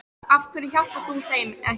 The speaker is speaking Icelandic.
Af hverju hjálpar þú þeim ekki?